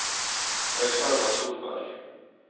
Aleksander Solberg